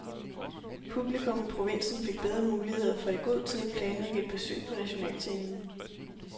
Publikum i provinsen fik bedre muligheder for i god tid at planlægge et besøg på nationalscenen.